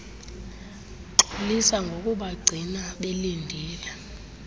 xolisa ngokubagcina belindile